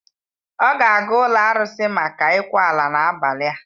Ọ ga-aga ụlọ arụsị maka ịkwa ala n'abalị a.